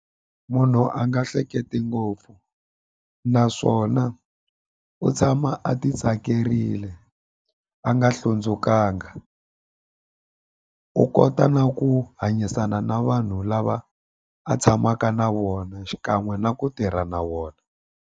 Munhu a nga hleketi ngopfu naswona u tshama a ti tsakerile a nga hlundzukanga u kota na ku hanyisana na vanhu lava a tshamaka na vona xikan'we na ku tirha na vona.